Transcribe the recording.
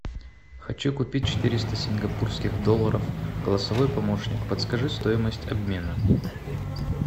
хочу купить четыреста сингапурских долларов голосовой помощник подскажи стоимость обмена